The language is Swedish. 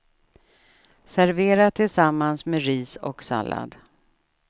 Servera tillsammans med ris och sallad.